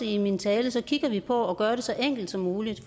i min tale kigger vi på at gøre det så enkelt som muligt